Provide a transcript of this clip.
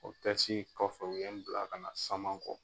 O tɛsi in kɔfɛ u ye n bila ka na saman kɔ